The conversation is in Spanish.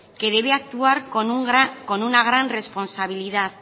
que debe actuar con una gran responsabilidad